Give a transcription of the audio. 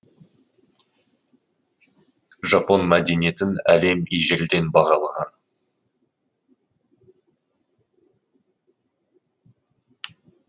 жапон мәдениетін әлем ежелден бағалаған